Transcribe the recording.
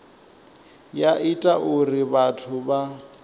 ya ita uri vhathu vha